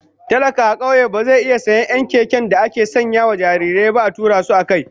Talaka a kauye ba zai iya sayen 'yan keken da ake sanya jarirai ba a tura su akai.